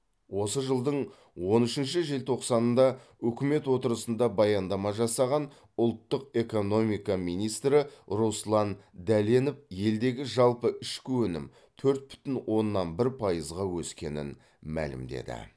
осы жылдың он үшінші желтоқсанында үкімет отырысында баяндама жасаған ұлттық экономика министрі руслан дәленов елдегі жалпы ішкі өнім төрт бүтін оннан бір пайызға өскенін мәлімдеді